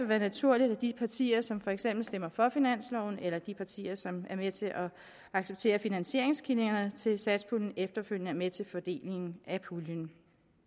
være naturligt at de partier som for eksempel stemmer for finansloven eller de partier som er med til at acceptere finansieringskilderne til satspuljen efterfølgende er med til fordelingen af puljen